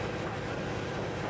Xeyr, bəylər, xeyr.